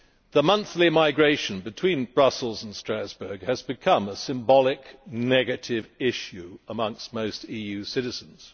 The monthly migration between Brussels and Strasbourg has become a symbolic negative issue for most EU citizens.